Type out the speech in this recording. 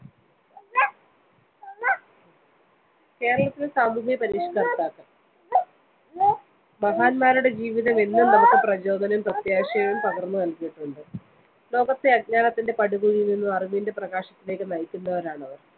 കേരളത്തിലെ സാമൂഹിക പരിഷ്‌കർത്താക്കൾ. മഹാൻമാരുടെ ജീവിതമെന്നും നമുക്ക് പ്രചോദനവും പ്രത്യാശയും പകർന്നു നൽകിയിട്ടുണ്ട്. ലോകത്തെ അജ്ഞാനത്തിന്റെ പടുകുഴിയിൽനിന്നും അറിവിന്റെ പ്രകാശത്തിലേക്ക് നയിക്കുന്നവരാണവർ.